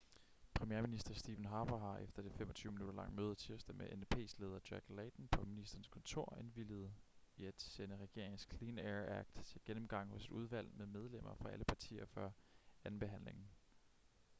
premierminister stephen harper har efter det 25-minutter lange møde tirsdag med ndps leder jack layton på ministerens kontor indvilliget i at sende regeringens clean air act til gennemgang hos et udvalg med medlemmer fra alle partier før andenbehandlingen